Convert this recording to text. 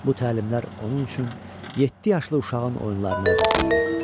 Bu təlimlər onun üçün yeddi yaşlı uşağın oyunlarını əvəz eləyirdi.